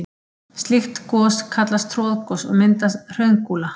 Slík gos kallast troðgos og mynda hraungúla.